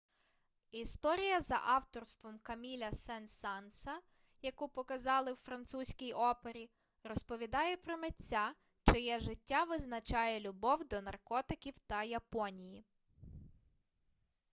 історія за авторством каміля сен-санса яку показали у французькій опері розповідає про митця чиє життя визначає любов до наркотиків та японії